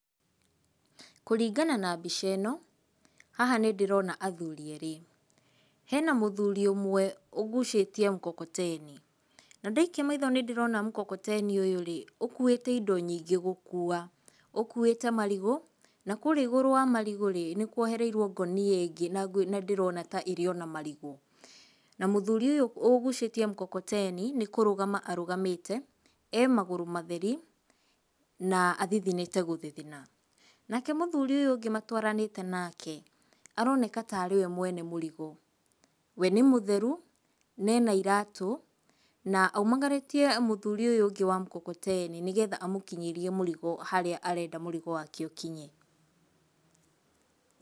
Kũringana na mbica ĩno, haha nĩ ndĩrona athuri erĩ. Hena mũthuri ũmwe ũgucĩtie mkokoteni. Na ndaikia maitho nĩ ndĩrona mkokoteni ũyũ-rĩ, ũkuĩte indo nyingĩ gũkua. Ũkuĩte marigũ na kũũrĩa igũrũ wa marigũ-rĩ nĩ kwohereirwo ngũnia ĩngĩ na ngwĩciria, na ndĩrona ta ĩrĩ ona marigũ. Na mũthuri ũyũ ũgucĩtie mkokoteni nĩ kũrũgama arũgamĩte, e magũrũ matheri na athithinĩte gũthithina. Nake mũthuri ũyũ ũngĩ matwaranĩte nake aroneka tarĩ we mwene mũrigo. We nĩ mũtheru nena iratũ, na aumagarĩtie mũthuuri ũyũ ũngĩ wa mkokoteni nĩgetha amũkinyĩrie mũrigo harĩa arenda mũrigo wake ũkinye.